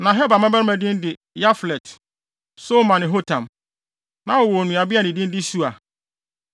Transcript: Na Heber mmabarima din de Yaflet, Somer ne Hotam. Na wɔwɔ onuabea a ne din de Sua.